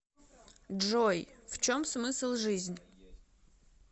джой в чем смысл жизнь